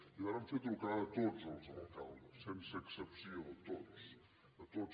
i vàrem fer trucades a tots els alcaldes sense excepció a tots